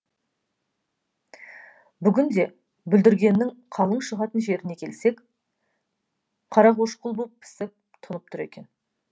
бүгін де бүлдіргеннің қалың шығатын жеріне келсек қара қошқыл боп пісіп тұнып тұр екен